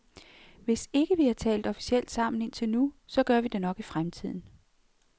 Hvis ikke vi har talt officielt sammen indtil nu, så gør vi det nok i fremtiden.